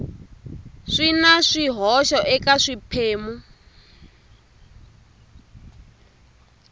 swi na swihoxo eka swiphemu